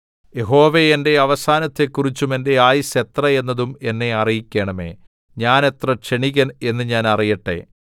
യഹോവേ എന്റെ അവസാനത്തെക്കുറിച്ചും എന്റെ ആയുസ്സ് എത്ര എന്നതും എന്നെ അറിയിക്കണമേ ഞാൻ എത്ര ക്ഷണികൻ എന്ന് ഞാൻ അറിയട്ടെ